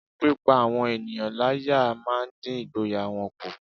Pípá àwọn ènìyàn láyá máa ń dín ìgboyà wọn kù